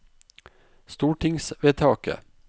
stortingsvedtaket